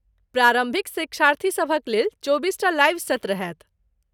प्रारम्भिक शिक्षार्थीसभक लेल चौबीसटा लाइव सत्र होयत।